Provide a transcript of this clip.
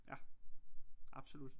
Ja absolut